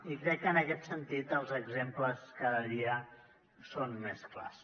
i crec que en aquest sentit els exemples cada dia són més clars